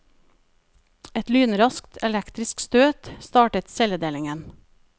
Et lynraskt elektrisk støt startet celledelingen.